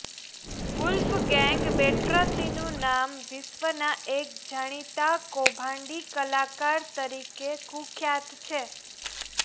Wolfgang બેલ્ટ્રાચીનું નામ વિશ્વના એક જાણીતા કૌભાંડી કલાકાર તરીકે કુખ્યાત છે